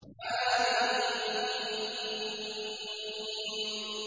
حم